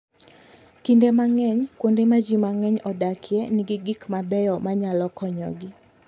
Kinde mang'eny, kuonde ma ji mang'eny odakie nigi gik ma beyo manyalo konyogi.